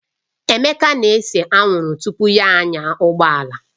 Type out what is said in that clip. Emeka na-ese anwụrụ tupu ya anya ụgbọala